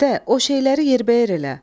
Ədə, o şeyləri yerbəyer elə.